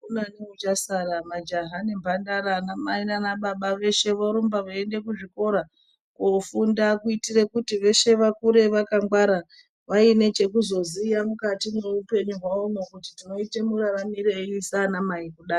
Akuna neuchasara majaha nembandara ana mai naana baba veshe vorumba veiende kuzvikora kofunda kuitire kuti veshe vakure vakangwara vaine chekuzoziya mukati mwoupenyu wavo nokuti tinoita mararamirei saana mai kudai.